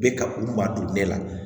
Bɛ ka u ma don ne la